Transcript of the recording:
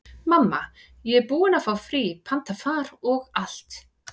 Mamma, ég er búin að fá frí, panta far og allt.